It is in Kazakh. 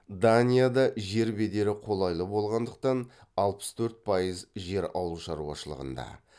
данияда жер бедері қолайлы болғандықтан алпыс төрт пайыз жер ауылшаруашылығында